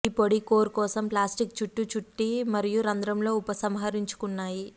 ఈ పొడి కోర్ కోసం ప్లాస్టిక్ చుట్టు చుట్టి మరియు రంధ్రంలో ఉపసంహరించుకున్నాయి